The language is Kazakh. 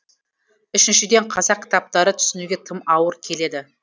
үшіншіден қазақ кітаптары түсінуге тым ауыр келеді